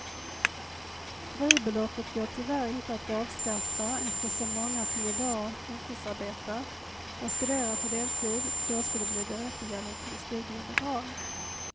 Fribeloppet går tyvärr inte att avskaffa eftersom många som i dag heltidsarbetar och studerar på deltid då skulle bli berättigade till studiebidrag.